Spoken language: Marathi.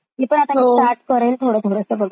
तुम्ही नक्की चालु करा फ्रेंड्स ती.